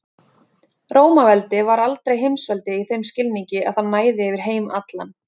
Rómaveldi var aldrei heimsveldi í þeim skilningi að það næði yfir heim allan.